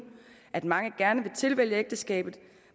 at mange gerne tilvælger ægteskabet